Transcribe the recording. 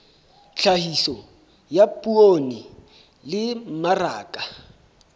tlhahiso ya poone le mmaraka